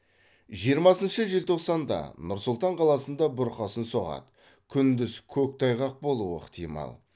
жиырмасыншы желтоқсанда нұр сұлтан қаласында бұрқасын соғады күндіз көктайғақ болуы ықтимал